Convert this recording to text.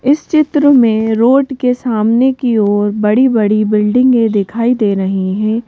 इस चित्र में रोड के सामने की ओर बड़ी-बड़ी बिल्डिंगें दिखाई दे रही हैं।